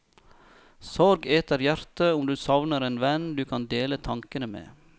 Sorg eter hjertet om du savner en venn du kan dele tankene med.